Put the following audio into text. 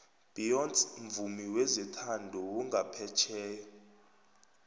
beyonce mvumi wezothando wongaphetjheya